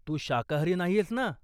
तू शाकाहारी नाहीयेस ना?